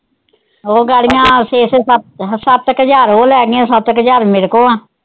ਉਹ ਛੇ ਛੇ ਸੱਤ, ਸੱਤ ਕੇ ਹਜ਼ਾਰ ਉਹ ਲੈ ਗਈਆਂ ਸੱਤ ਕੇ ਹਜ਼ਾਰ ਮੇਰੇ ਕੋਲ ਆ।